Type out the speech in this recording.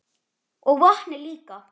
Og vatnið líka.